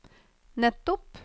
nettopp